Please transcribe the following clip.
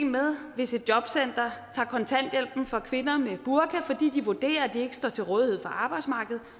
med hvis et jobcenter tager kontanthjælpen fra kvinder med burka fordi de vurderer at de ikke står til rådighed for arbejdsmarkedet